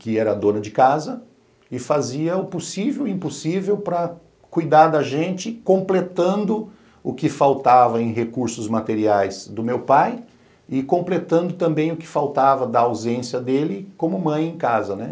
que era dona de casa e fazia o possível e o impossível para cuidar da gente, completando o que faltava em recursos materiais do meu pai e completando também o que faltava da ausência dele como mãe em casa, né?